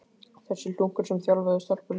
Þessi hlunkur sem þjálfaði stelpurnar!